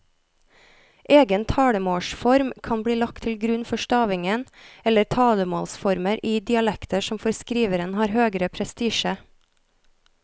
Egen talemålsform kan bli lagt til grunn for stavingen eller talemålsformer i dialekter som for skriveren har høgere prestisje.